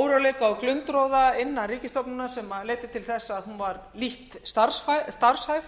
óróleika og glundroða innan ríkisstofnunar sem leiddi til þess að hún var lítt starfhæf